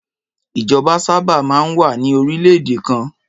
Ìjọba sábà máa ń wà ní orílẹ̀-èdè kan.